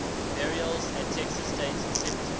burials at texas state cemetery